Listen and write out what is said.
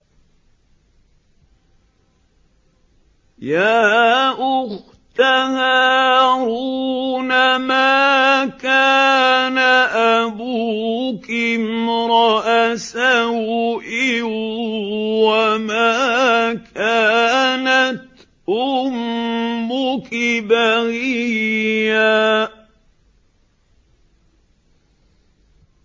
يَا أُخْتَ هَارُونَ مَا كَانَ أَبُوكِ امْرَأَ سَوْءٍ وَمَا كَانَتْ أُمُّكِ بَغِيًّا